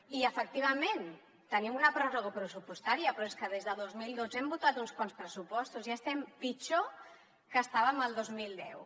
i efectivament tenim una pròrroga pressupostària però és que des del dos mil dotze hem votat uns quants pressupostos i estem pitjor que estàvem el dos mil deu